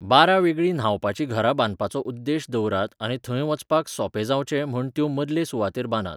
बारा वेगळीं न्हावपाचीं घरां बांदपाचो उद्देश दवरात आनी थंय वचपाक सोंपें जावचें म्हण त्यो मदले सुवातेर बांदात.